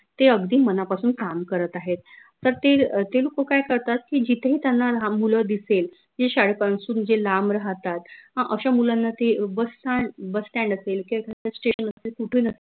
ते अगदी मनापासून काम करत आहेत तर ते अह ते लोक काय करतात की जिथेही त्यांना लाहान मुलं दिसेल जे शाळेपासून जे लांब राहतात हं अश्या मुलांना ते busstandbusstand असेल